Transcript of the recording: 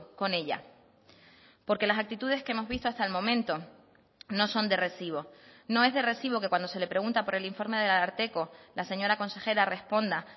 con ella porque las actitudes que hemos visto hasta el momento no son de recibo no es de recibo que cuando se le pregunta por el informe del ararteko la señora consejera responda